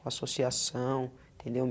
Com associação, entendeu?